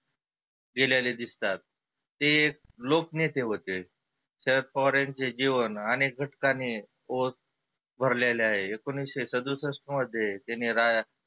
गेलेले दिसतात. ते लोकनेते होते, शरद पवार यांचे जिवन आनेक घटकांनी ओत भरलेले आहे. एकोनीसशे सदुसष्ठ मध्ये त्यांनी रा